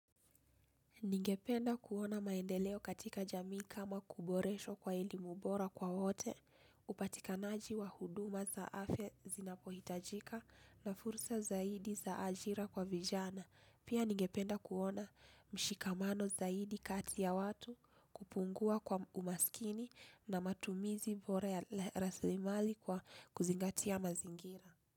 Ningependa kuona maendeleo katika jamii kama kuboreshwa kwa elimu bora kwa wote, upatikanaji wa huduma za afya zinapohitajika na fursa zaidi za ajira kwa vijana. Pia ningependa kuona mshikamano zaidi kati ya watu kupungua kwa umaskini na matumizi bora ya rasilimali kwa kuzingatia mazingira.